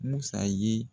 Musa ye